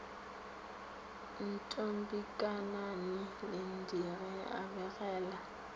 ntombikanani linde ge a begela